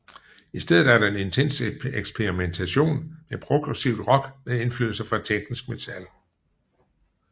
I stedet er der en intens eksperimentation med progressivt rock med indflydelse fra teknisk metal